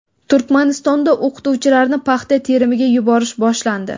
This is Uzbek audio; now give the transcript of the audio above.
Turkmanistonda o‘qituvchilarni paxta terimiga yuborish boshlandi.